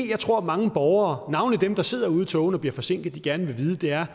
jeg tror mange borgere navnlig dem der sidder ude i togene og bliver forsinkede gerne vil vide er